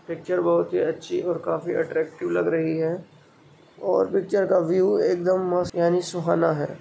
Picture बहुत ही अच्छी और काफी अट्रैक्टिव लग रही है और पिक्चर का व्यू एकदम मस्त यानी सुहाना है।